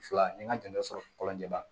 Fila ni n ka dɛmɛ sɔrɔ kɔlɔnjɛba